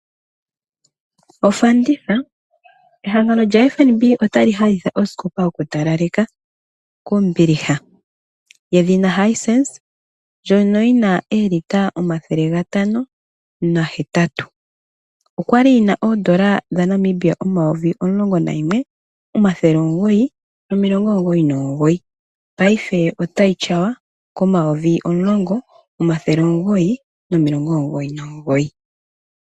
Ofanditha, ehangano lyaFNB ota li hahitha oskopa yoku talaleka kombiliha yedhina Hisense ndyono yina olita 508. Okwa li yina N$ 11900.99 paife otayi tyawa ko N$ 10900.99.